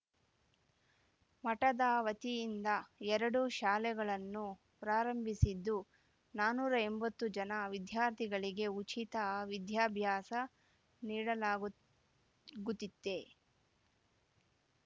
ಮಠದ ವತಿಯಿಂದ ಎರಡು ಶಾಲೆಗಳನ್ನು ಪ್ರಾರಂಭಿಸಿದ್ದು ನಾನೂರ ಎಂಬತ್ತು ಜನ ವಿದ್ಯಾರ್ಥಿಗಳಿಗೆ ಉಚಿತ ವಿದ್ಯಾಭ್ಯಾಸ ನೀಡಲಾಗು ಗುದಿತ್ತೆ